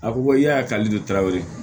A ko ko i y'a kali de tarawele